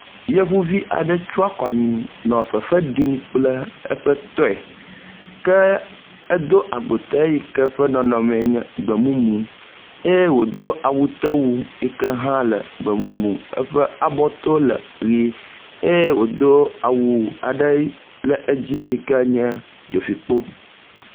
Yevuvi aɖe tsɔ akɔ anyi nɔ fefe ɖim kple eƒe tɔye ke edo agbote yi ke ƒe nɔnɔme enye gbemumu eye wodo awutewui yi hã le gbemumu eƒe abɔto le ʋi eye wodo awu aɖe ɖe edzi yi ke nye dzofikpo.